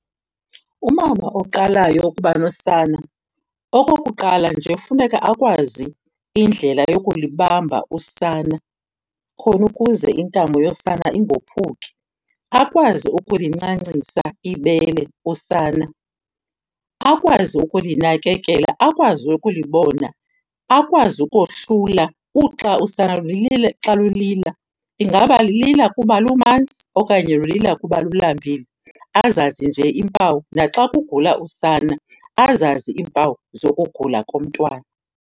Umama oqalayo ukuba nosana, okokuqala nje funeka akwazi indlela yokulibamba usana khona ukuze intamo yosana ingophuki. Akwazi ukulincancisa ibele usana. Akwazi ukulinakekela, akwazi ukulibona, akwazi ukohlula uxa usana xa lulila. Ingaba lilila kuba lumanzi okanye lulila kuba lulambile? Azazi nje iimpawu. Naxa kugula usana azazi iimpawu zokugula komntwana.